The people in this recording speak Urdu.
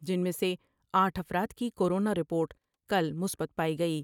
جن میں سے آٹھ افراد کی کورونا رپورٹ کل مثبت پائی گئی ۔